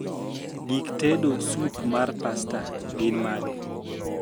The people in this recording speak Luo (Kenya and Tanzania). gik tedo supmar pasta gin mage